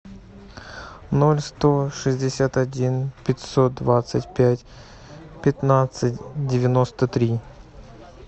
ноль сто шестьдесят один пятьсот двадцать пять пятнадцать девяносто три